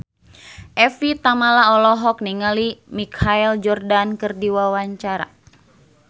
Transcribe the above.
Evie Tamala olohok ningali Michael Jordan keur diwawancara